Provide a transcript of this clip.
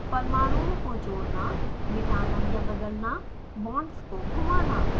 परमाणुओं को जोड़ना मिटाना या बदलना बॉन्ड्स को घुमाना